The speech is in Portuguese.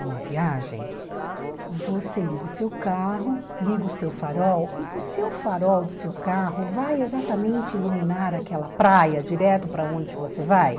numa viagem, você liga o seu carro, liga o seu farol, e o seu farol do seu carro vai exatamente iluminar aquela praia direto para onde você vai?